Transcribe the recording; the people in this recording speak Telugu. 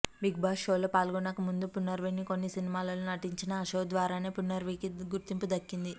బిగ్ బాస్ షోలో పాల్గొనక ముందు పునర్నవి కొన్ని సినిమాల్లో నటించినా ఆ షో ద్వారానే పునర్నవికి గుర్తింపు దక్కింది